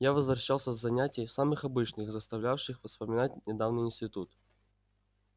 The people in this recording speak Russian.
я возвращался с занятий самых обычных заставлявших вспоминать недавний институт